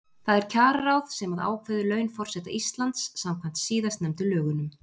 Það er kjararáð sem að ákveður laun forseta Íslands samkvæmt síðastnefndu lögunum.